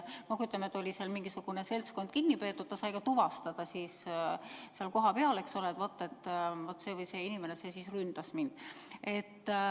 Ütleme, kui oli mingisugune seltskond kinni peetud, siis kannatanu sai seal kohapeal tuvastada, et vaat see oli see inimene, kes mind ründas.